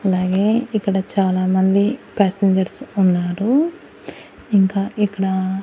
అలాగే ఇక్కడ చాలామంది ప్యాసింజర్స్ ఉన్నారు ఇంకా ఇక్కడా--